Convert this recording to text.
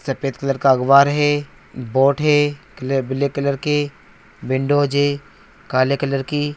सफ़ेद कलर का अखबार है बोर्ड है कलर ब्लैक कलर के विन्डोज़ हैं काले कलर की--